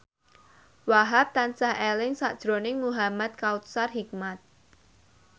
Wahhab tansah eling sakjroning Muhamad Kautsar Hikmat